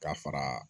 Ka fara